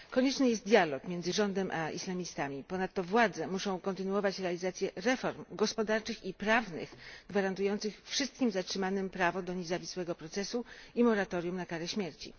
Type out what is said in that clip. Konieczny jest dialog między rządem a islamistami. Ponadto władze muszą kontynuować realizację reform gospodarczych i prawnych gwarantujących wszystkim zatrzymanym prawo do niezawisłego procesu i moratorium na karę śmierci.